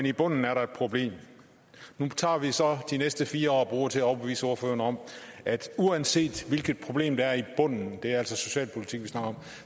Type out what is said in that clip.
i bunden er der et problem nu tager vi så de næste fire år og bruger dem til at overbevise ordføreren om at uanset hvilket problem der er i bunden det er altså socialpolitik vi snakker om